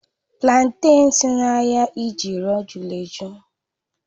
Platen si n'ahịa idioro jụrụ ejụ́